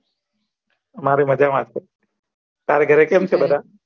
અમારે માજા મા છે તારા ઘરે કેમ છે બધા